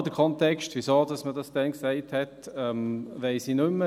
Den genauen Kontext, warum man das damals sagte, weiss ich nicht mehr.